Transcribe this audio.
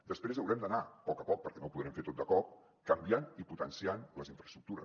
després haurem d’anar a poc a poc perquè no ho podrem fer tot de cop canviant i potenciant les infraestructures